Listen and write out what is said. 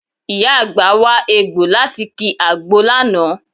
Ìyá àgbà wa egbọ̀ láti ki àgbo lánàá